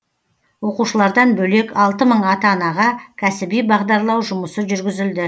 оқушылардан бөлек алты мың ата анаға кәсіби бағдарлау жұмысы жүргізілді